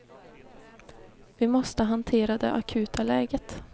Vi måste hantera det akuta läget.